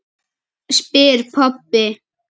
spyr pabbi.